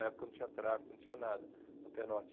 Na época não tinha tráfico, não tinha nada no pé norte.